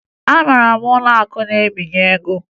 Ị mara ụlọakụ na-ebinye ego?